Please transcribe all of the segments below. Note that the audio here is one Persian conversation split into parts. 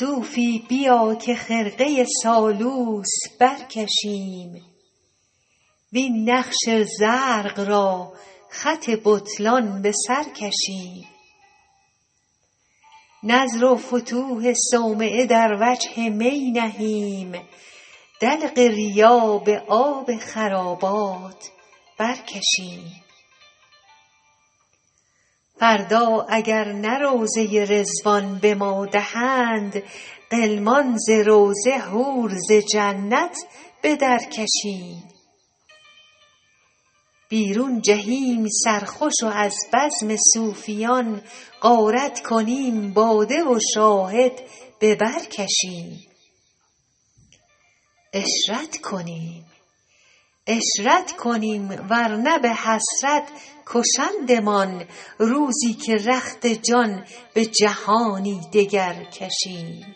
صوفی بیا که خرقه سالوس برکشیم وین نقش زرق را خط بطلان به سر کشیم نذر و فتوح صومعه در وجه می نهیم دلق ریا به آب خرابات برکشیم فردا اگر نه روضه رضوان به ما دهند غلمان ز روضه حور ز جنت به درکشیم بیرون جهیم سرخوش و از بزم صوفیان غارت کنیم باده و شاهد به بر کشیم عشرت کنیم ور نه به حسرت کشندمان روزی که رخت جان به جهانی دگر کشیم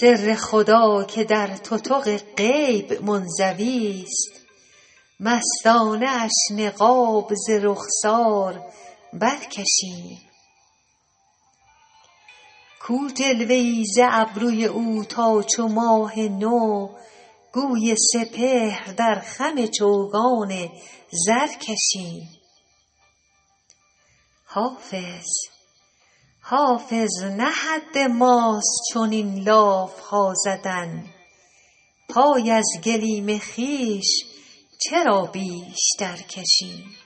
سر خدا که در تتق غیب منزویست مستانه اش نقاب ز رخسار برکشیم کو جلوه ای ز ابروی او تا چو ماه نو گوی سپهر در خم چوگان زر کشیم حافظ نه حد ماست چنین لاف ها زدن پای از گلیم خویش چرا بیشتر کشیم